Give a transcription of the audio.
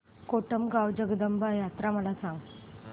कोटमगाव जगदंबा यात्रा मला सांग